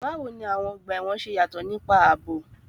Báwo ni àwọn ọgbà ẹ̀wọ̀n ṣe yàtọ̀ nípa ààbò?